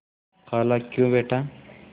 खालाक्यों बेटा